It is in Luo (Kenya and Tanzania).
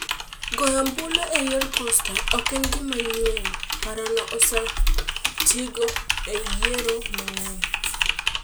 Goyo ombulu e yor posta ok en gima nyien- parono osetigo e yiero mang'eny.